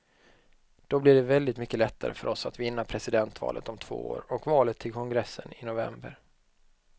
Då blir det väldigt mycket lättare för oss att vinna presidentvalet om två år och valet till kongressen i november.